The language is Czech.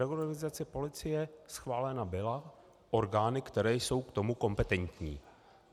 Reorganizace policie schválena byla orgány, které jsou k tomu kompetentní.